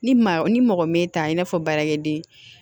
Ni maa ni mɔgɔ me ta i n'a fɔ baarakɛden